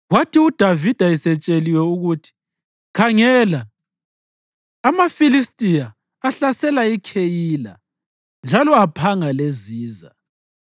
Kwathi uDavida esetsheliwe ukuthi, “Khangela, amaFilistiya ahlasela iKheyila njalo aphanga leziza,”